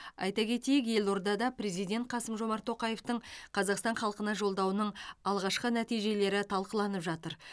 айта кетейік елордада президент қасым жомарт тоқаевтың қазақстан халқына жолдауының алғашқы нәтижелері талқыланып жатыр